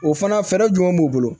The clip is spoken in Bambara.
O fana fɛɛrɛ jumɛn b'u bolo